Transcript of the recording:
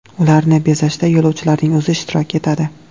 Ularni bezashda yo‘lovchilarning o‘zi ishtirok etadi.